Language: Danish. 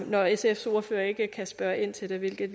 når sfs ordfører ikke kan spørge ind til det hvilket